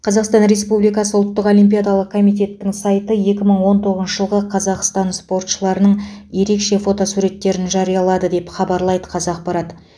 қазақстан республикасы ұлттық олимпиадалық комитеттің сайты екі мың он тоғызыншы жылғы қазақстан спортшыларының ерекше фотосуреттерін жариялады деп хабарлайды қазақпарат